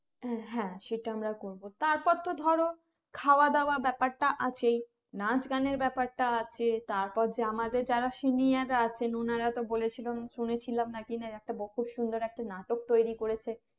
হ্যাঁ সেটা আমরা করবো তার পর তো ধরো খাওয়া দাওয়া ব্যাপারটা আছেই নাচ গানের ব্যাপারটা আছে তারপর যে আমাদের যারা senior রা আছেন ওনারা তো বলেছিলো শুনে ছিলাম নাকি একটা খুব সুন্দর একটা নাটক তৌরি করেছে